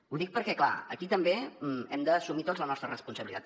ho dic perquè clar aquí també hem d’assumir tots la nostra responsabilitat